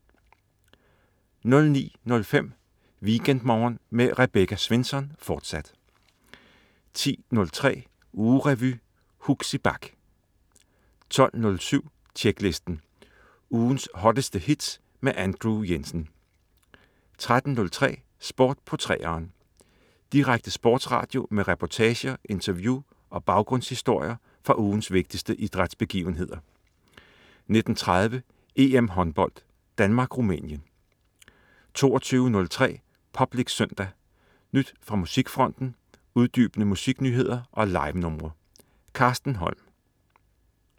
09.05 WeekendMorgen med Rebecca Svensson, fortsat 10.03 Ugerevy. Huxi Bach 12.07 Tjeklisten. Ugens hotteste hits med Andrew Jensen 13.03 Sport på 3'eren. Direkte sportsradio med reportager, interview og baggrundshistorier fra ugens vigtigste idrætsbegivenheder 19.30 EM håndbold: Danmark-Rumænien 22.03 Public Søndag. Nyt fra musikfronten, uddybende musiknyheder og livenumre. Carsten Holm